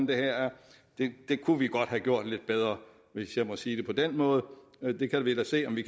det her det kunne vi godt have gjort lidt bedre hvis jeg må sige det på den måde vi kan da se om vi